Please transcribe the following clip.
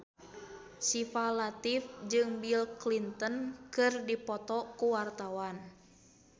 Syifa Latief jeung Bill Clinton keur dipoto ku wartawan